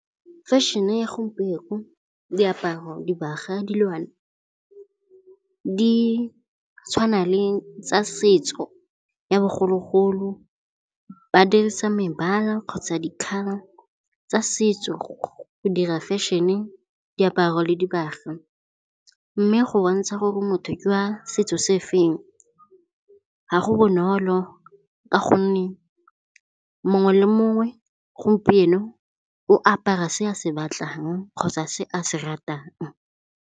Fashion-e ya gompieno, diaparo, dibaga, dilwana di tshwana le tsa setso ya bogologolo. Ba dirisa mebala kgotsa di-colour tsa setso go dira fashion-e, diaparo le dibaga. Mme go bontsha gore motho ke wa setso se feng, ga go bonolo ka gonne mongwe le mongwe gompieno o apara se a se batlang kgotsa se a se ratang.